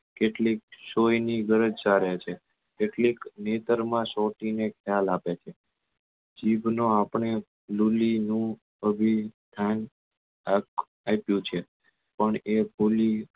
કેટલીક સોય ની ગરજ સારે છે કેટલીક નેતર માં સોટી ને ખ્યાલ આપે છે જીભ નો આપને લૂલી નું સ્થાન આપ્યું છે પણ એ ફૂલી